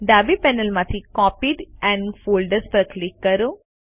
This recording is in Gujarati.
ડાબી પેનલમાંથી કોપીઝ એન્ડ ફોલ્ડર્સ પર ક્લિક કરો